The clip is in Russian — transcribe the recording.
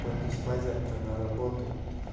пойду спать завтра на работу